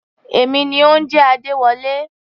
Èmi ni mò ń jẹ́ Adéwọlé.